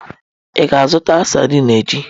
Ị ga-azụta sadin echi?